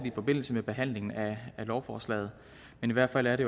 i forbindelse med behandlingen af lovforslaget men i hvert fald er det